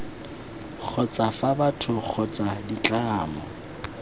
kgotsa fa batho kgotsa ditlamo